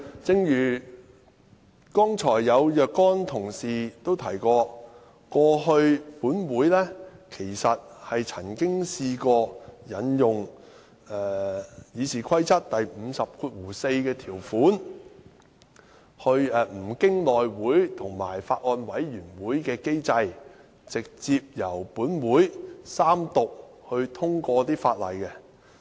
正如剛才有若干同事提及，立法會過去曾經引用《議事規則》第544條，不經內務委員會和法案委員會的機制，直接由立法會三讀通過法案。